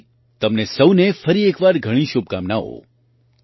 તેની સાથે તમને સહુને ફરી એક વાર ઘણી શુભકામનાઓ